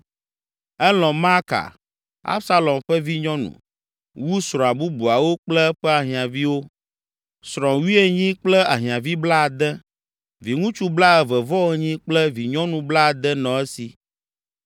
Elɔ̃ Maaka, Absalom ƒe vinyɔnu, wu srɔ̃a bubuawo kple eƒe ahiãviwo. Srɔ̃ wuienyi kple ahiãvi blaade, viŋutsu blaeve-vɔ-enyi kple vinyɔnu blaade nɔ esi.